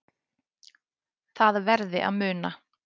Það verði að muna